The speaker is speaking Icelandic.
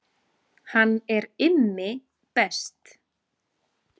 Hann er Immi best